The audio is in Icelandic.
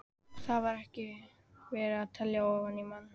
Og þar var ekki verið að telja ofan í mann.